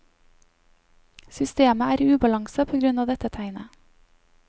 Systemet er i ubalanse på grunn av dette tegnet.